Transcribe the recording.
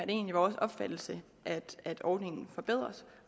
egentlig vores opfattelse at ordningen forbedres